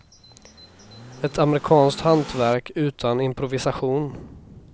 Ett amerikanskt hantverk, utan improvisation.